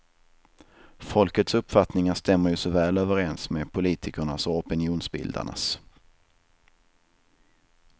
Folkets uppfattningar stämmer ju så väl överens med politikernas och opinionsbildarnas.